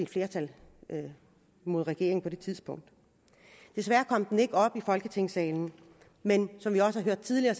flertal imod regeringen på et tidspunkt desværre kom den ikke op i folketingssalen men som vi også har hørt tidligere